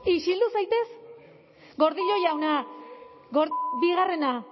isildu zaitez gordillo jauna bigarrena